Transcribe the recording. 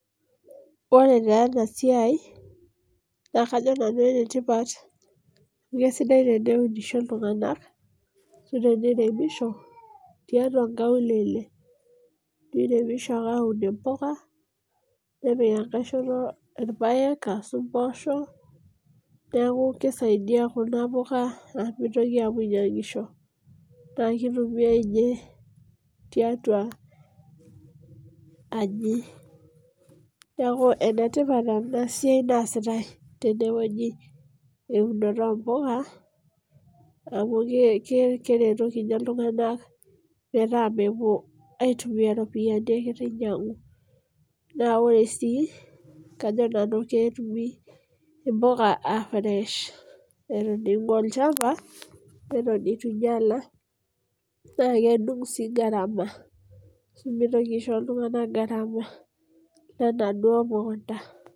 Ore taa enasiai, naa kajo nanu enetipat, kesidai teneunisho iltung'anak, ashu teniremisho, tiatua nkaulele. Niremisho ake aun impuka, nepik enkae shoto irpaek asu mpoosho, neeku kisaidia kuna puka amu mitoki apuo ainyang'isho. Na kitumiai inye tiatua aji. Neeku enetipat enasiai naasitai tenewueji. Eunoto ompuka, amu keretoki nye iltung'anak metaa mepuo aitumia ropiyiani egira ainyang'u. Na ore si, kajo nanu ketumi impuka ah fresh. Eton ing'ua olchamba, eton itu inyala, na kedung' si gharama ,asu mitoki aisho iltung'anak gharama enaduo mukunda.